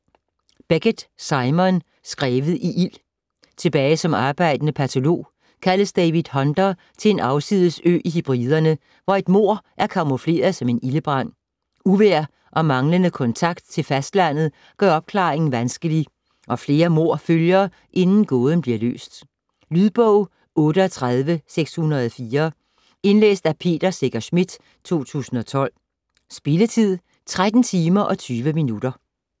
Beckett, Simon: Skrevet i ild Tilbage som arbejdende patolog kaldes David Hunter til en afsides ø i Hebriderne, hvor et mord er camoufleret som ildebrand. Uvejr og manglende kontakt til fastlandet gør opklaringen vanskelig, og flere mord følger, inden gåden bliver løst. Lydbog 38604 Indlæst af Peter Secher Schmidt, 2012. Spilletid: 13 timer, 20 minutter.